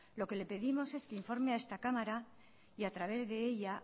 lo que le pedimos es que informe a esta cámara y a través de ella